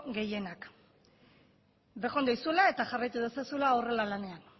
gehienak bejon deizuela eta jarraitu dezazula horrela lanean